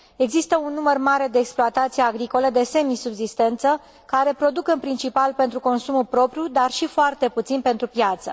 Există un număr mare de exploatații agricole de semisubzistență care produc în principal pentru consumul propriu, dar și foarte puțin pentru piață.